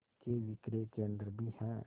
के विक्रय केंद्र भी हैं